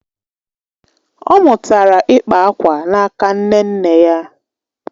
ọ mụtara ịkpa akwa n’aka nne nne ya.